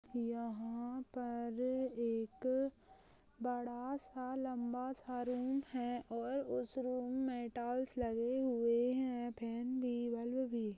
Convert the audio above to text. यहाँ पर एक बड़ा सा लम्बा सा रूम हैं और उस रूम में टाइल लगे हुए है। फेन भी बल्ब भी --